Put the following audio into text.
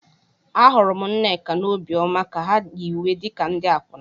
Ahụrụ m Nneka na Obioma ka ha yi uwe wee dị ka ndị akwụna.